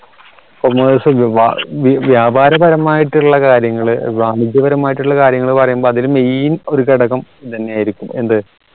commerce വ്യാപാരപരമായിട്ടുള്ള കാര്യങ്ങൾ വാണിജ്യപരമായിട്ടുള്ള ആയിട്ടുള്ള കാര്യങ്ങൾ പറയുമ്പോ അതിൽ main ഒരു ഘടകം ഇതന്നെയായിരിക്കും എന്ത്